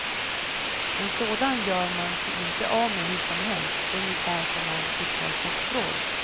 En sådan gör man sig inte av med hur som helst, ungefär som man kickar statsråd.